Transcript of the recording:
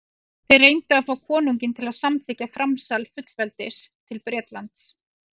þeir reyndu að fá konunginn til að samþykkja framsal fullveldis til bretlands